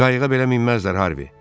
Qayığa belə minməzlər, Harvi.